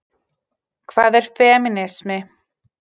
Hvað er femínismi?